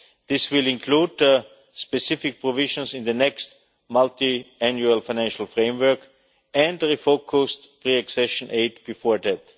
are met. This will include specific provisions in the next multiannual financial framework, and refocused pre accession aid before